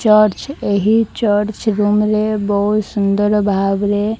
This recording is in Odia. ଚର୍ଚ୍ଚ ଏହି ଚର୍ଚ୍ଚ ଗୁମ ରେ ବହୁତ୍ ସୁନ୍ଦର ଭାବରେ --